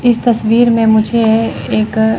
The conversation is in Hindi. इस तस्वीर में मुझे एक--